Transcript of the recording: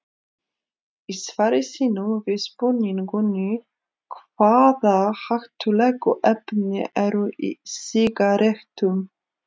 Í svari sínu við spurningunni Hvaða hættulegu efni eru í sígarettum?